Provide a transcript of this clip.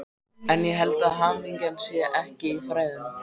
En ég held að hamingjan sé ekki í fræðunum.